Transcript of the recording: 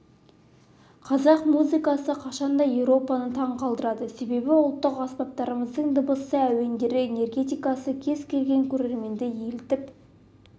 қазақ музыкасы қашанда еуропаны таң қалдырады себебі ұлттық аспаптарымыздың дыбысы әуендері энергетикасы кез келген көрерменді елітіп